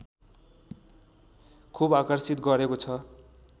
खुब आकर्षित गरेको छ